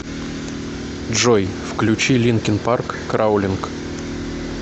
джой включи линкин парк краулинг